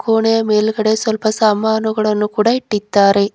ಕೋಣೆಯ ಮೇಲ್ಗಡೆ ಸ್ವಲ್ಪ ಸಾಮಾನುಗಳನ್ನು ಕೂಡ ಇಟ್ಟಿದ್ದಾರೆ.